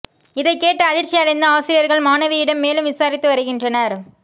இதைக் கேட்டு அதிர்ச்சி அடைந்த ஆசிரியர்கள் மாணவியிடம் மேலும் விசாரித்து வருகின்றனர்